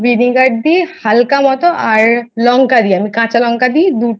vinegar দিই হাল্কা মতো লঙ্কা দিই আমি কাঁচা লঙ্কা দিই দুটো